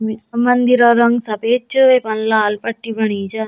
म मंदिरा रंग सफेद च वेमा लाल पट्टी बणी च।